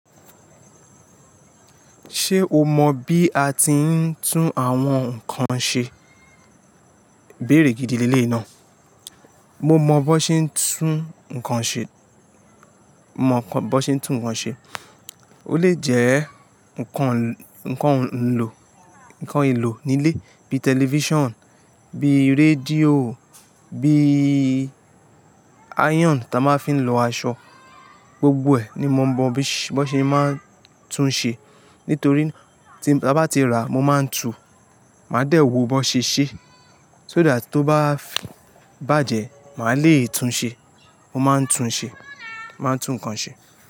Ṣé o mọ bí a ti ń tún àwọn nǹkan ṣe? Ibéèré gidi leleyii náà. Mo mọ bó ṣe ń tún nǹkan ṣe. Mo mọ bó ṣe ń tún nǹkan ṣe. Ó lè jẹ́ nǹkan, nǹkan lò, nǹkan ìlò nílé bíi television, bíi radio, bíi iron tí a máa ń fi ń lọ aṣọ. Gbogbo ẹ ní mo mọ bó ṣe máa ń tún ṣe. Nítorí tí, ta bá tí ra, mo máa ń tún, màá dẹ̀ wò bó ṣe ṣé. So that tó bá bàjẹ́, màá le tún ṣe. Mo máa ń tún ṣe. Mo máa ń tún nǹkan ṣe.